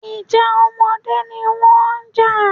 Ìjà ọmọdé ni wọ́n ń jà